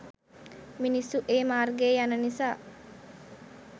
මිනිස්සු ඒ මාර්ගයේ යන නිසා.